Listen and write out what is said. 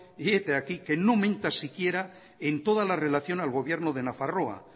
y hete aquí que no aumenta siquiera en toda la relación al gobierno de nafarroa